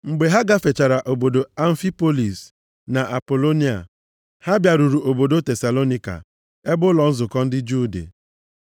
Mgbe ha gafechara obodo Amfipolis na Apolonia, ha bịaruru obodo Tesalonaịka, ebe ụlọ nzukọ ndị Juu dị.